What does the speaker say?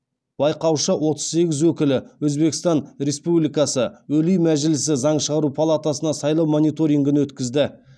байқаушы отыз сегіз өкілі өзбекстан республикасы олий мәжілісі заң шығару палатасына сайлау мониторингін өткізді